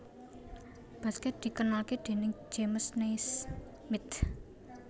Baskèt dikenalké déning James Naismith